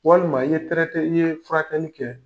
Walima i ye traité i ye furakɛli kɛ